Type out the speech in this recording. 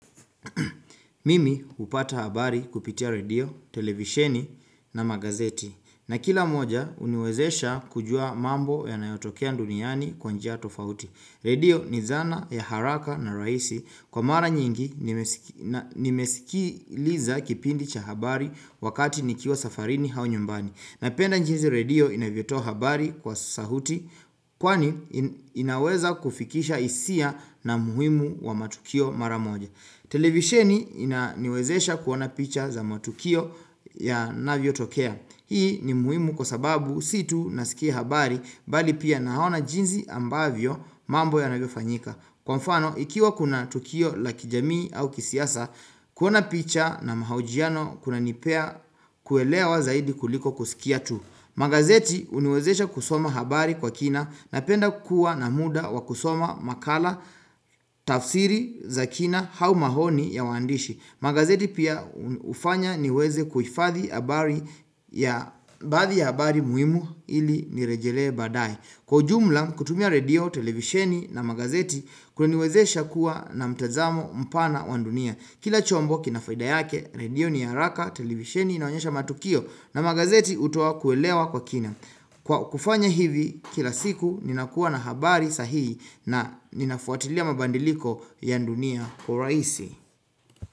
Mimi hupata habari kupitia redio televisheni na magazeti na kila moja uniwezesha kujua mambo yanayotokea duniani kwa njia tofauti redio ni dhana ya haraka na rahisi kwa mara nyingi nimesi nimesikiliza kipindi cha habari wakati nikiwa safarini au nyumbani napenda jinsi redio inavyotoa habari kwa sauti kwani inaweza kufikisha hisia na umuhimu wa matukio mara moja televisheni inaniwezesha kuona picha za matukio yanavyo tokea hii ni muhimu kwa sababu si tu nasikia habari bali pia naona jinsi ambavyo mambo yanavyofanyika kwa mfano ikiwa kuna tukio la kijamii au kisiasa kuona picha na mahojiano kunanipea kuelewa zaidi kuliko kusikia tu magazeti huniwezesha kusoma habari kwa kina napenda kuwa na muda wa kusoma makala tafsiri za kina au maoni ya wandishi magazeti pia hufanya niweze kuhifadhi habari ya baadhi ya habari muhimu ili nirejelee badae kwa ujumla kutumia redio televisheni na magazeti kunaniwezesha kuwa na mtazamo mpana wa dunia kila chombo kina faida yake redio ni ya haraka televisheni inaonyesha matukio na magazeti hutoa kuelewa kwa kina kwa kufanya hivi kila siku ninakuwa na habari sahihi na ninafuatilia mabadiliko ya dunia kwa urahisi.